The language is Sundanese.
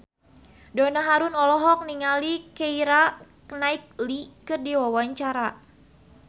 Donna Harun olohok ningali Keira Knightley keur diwawancara